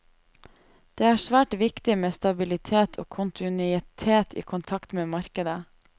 Det er svært viktig med stabilitet og kontinuitet i kontakten med markedet.